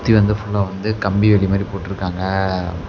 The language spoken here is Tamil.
இது வந்து ஃபுல்லா வந்து கம்பி வேலி மாரி போட்டுருக்காங்க.